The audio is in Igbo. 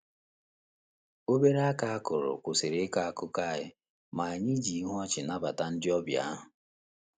Obere aka akụrụ kwụsịrị ịkọ akụkọ anyị, ma anyị ji ihu ọchị nabata ndị ọbịa ahụ.